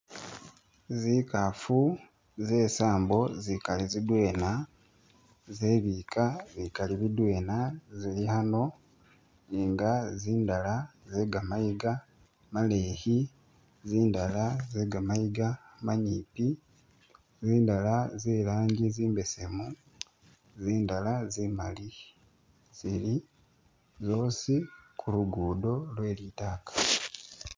Zikaafu zesambo zikali zidwena zebika bikali bidwena zili hano inga zindala zegamayiga maleyi zindala zegamayiga manyipi zindala zelangi zimbesemu zindala zimali zili zosi kulugudo lwe litaaka.